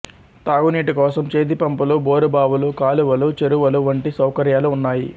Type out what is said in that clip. తాగునీటి కోసం చేతిపంపులు బోరుబావులు కాలువలు చెరువులు వంటి సౌకర్యాలు ఉన్నాయి